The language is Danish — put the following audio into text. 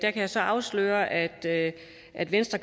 jeg så afsløre at at venstre